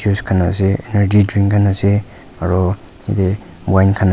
juice kan ase energy drink khan ase aro yatey wine khan.